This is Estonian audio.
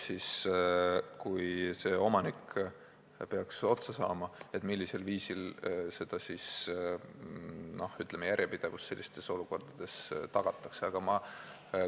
On teada, millisel viisil tagatakse järjepidevus, kui omanik peaks otsa saama.